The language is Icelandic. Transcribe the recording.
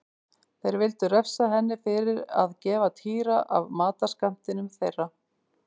Þeir vildu refsa henni fyrir að gefa Týra af matarskammtinum þeirra.